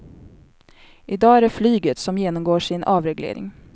I dag är det flyget som genomgår sin avreglering.